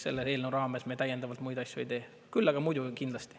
Selle eelnõu raames me täiendavalt muid asju ei tee, küll aga muidu kindlasti.